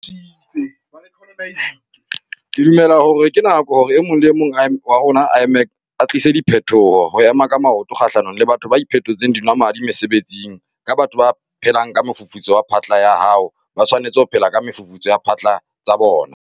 Ke dumela hore ke nako hore e mong le e mong wa rona a tlise phetoho - ho ema ka maoto kgahlanong le batho ba iphetotseng dinwamadi mesebetsing - ke batho ba phelang ka mofufutso wa phatla ya hao ha ba tshwanetse ho phela ka mefufutso ya phatla tsa bona.